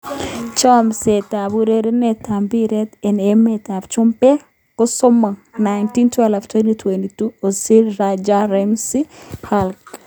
Chomset ab urerenet ab mbiret eng emet ab chumbek kosomok 09.12.2020: Ozil, Rudiger, Ramsey, Camavinga, Umtiti, Hulk